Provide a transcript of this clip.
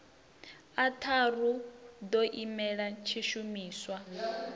a tharu ḓo imela tshishumiswa